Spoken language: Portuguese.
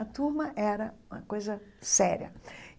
A turma era uma coisa séria.